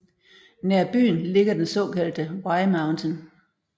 Nær byen ligger den såkaldte Y Mountain